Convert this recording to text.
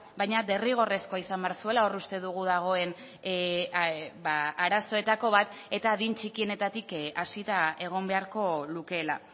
baina derrigorrezkoa izan behar zuela hor uste dugu dagoen arazoetako bat eta adin txikienetatik hasita egon beharko lukeela